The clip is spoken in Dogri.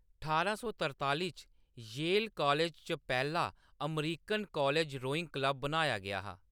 ठारां सौ तरताली च, येल कालेज च पैह्‌‌ला अमरीकन कालज रोईंग क्लब बनाया गेआ हा।